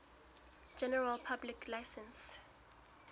general public license